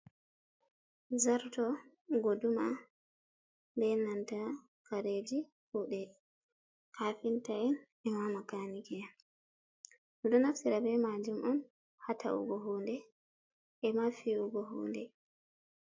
Zarto, goduma be nanta kareji kude kafinta'en e makanike en, do naftira be majum on ha ta’ugo hunde e mafi’ugo hunde.